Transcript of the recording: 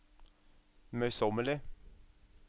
møysommelig